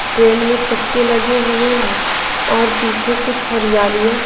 train में चक्के लगे हुए हैं और पीछे कुछ हरियालियाँ --